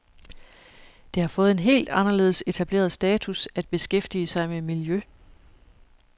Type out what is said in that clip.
Det har fået en helt anderledes etableret status at beskæftige sig med miljø.